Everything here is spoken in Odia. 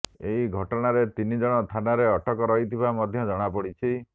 ଏହି ଘଟଣାରେ ତିନି ଜଣ ଥାନାରେ ଅଟକ ରହିଥିବା ମଧ୍ୟ ଜଣାପଡିଛି